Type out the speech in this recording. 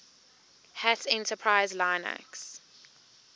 hat enterprise linux